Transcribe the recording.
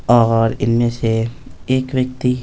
और इनमें से एक व्यक्ति --